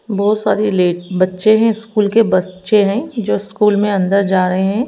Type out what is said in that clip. बहुत सारी ले बच्चे हैं स्कूल के बच्चे हैं जो स्कूल में अंदर जा रहे हैं।